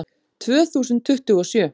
Tvö þúsund tuttugu og sjö